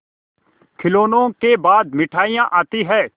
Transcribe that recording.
खिलौनों के बाद मिठाइयाँ आती हैं